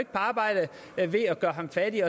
på arbejde ved at gøre ham fattig